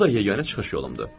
Bu da yeganə çıxış yolumdur.